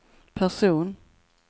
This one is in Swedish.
person